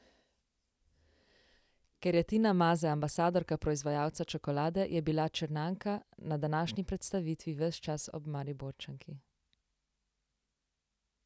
Ker je Tina Maze ambasadorka proizvajalca čokolade, je bila Črnjanka na današnji predstavitvi ves čas ob Mariborčanki.